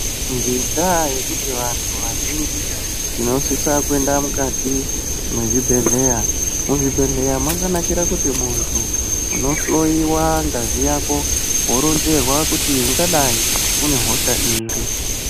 Ngendaa yekuti vanthu vazhinji tinosisa kuenda mukati mwezvibhedhleya , muzvibhedhleya mwakanakira kuti munthu unohloiwa ngazi yako woronzerwa kuti ungadai unehosha iri.